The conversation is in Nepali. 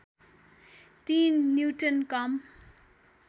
तीन न्युट्रन कम